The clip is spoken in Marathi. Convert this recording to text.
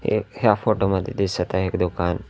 एक ह्या फोटो मध्ये दिसत आहे एक दुकान.